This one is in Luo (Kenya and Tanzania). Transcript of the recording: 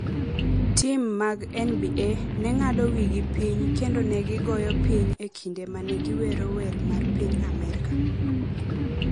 Tim mag NBA ne ng’ado wigi piny kendo ne gigoyo piny e kinde ma ne giwero wer mar piny Amerka